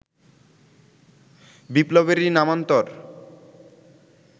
বিপ্লবেরই নামান্তর